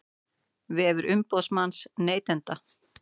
Vefur umboðsmanns neytenda